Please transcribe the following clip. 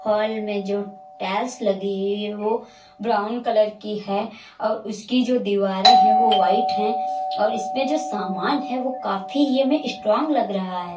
Hall में जो tiles लगी हैं वो ब्राउन कलर की है और उसकी जो दीवारें हैं वो वाइट है और इसमें जो सामान हैं वो काफी ही हमें स्ट्रांग लग रहा है।